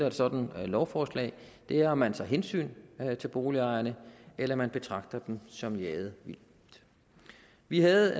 et sådant lovforslag er om man tager hensyn til boligejerne eller man betragter dem som jaget vildt vi havde